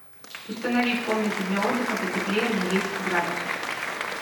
установи в комнате для отдыха потеплее на десять градусов